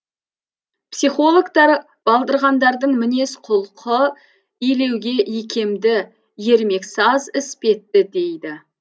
психологтар балдырғандардың мінез құлқы илеуге икемді ермексаз іспетті дейді